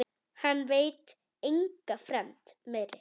Hann veit enga fremd meiri.